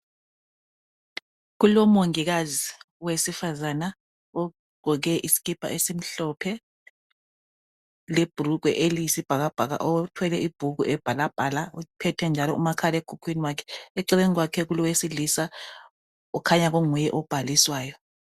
Kulomongikazi owesifazana ogqoke isikipa esimhlophe libhulugwe elesibhakabhaka othwele ibhuku ebhalabhala eceleni kwakhe kulowesilisa ukhanya kunguye obhaliswayo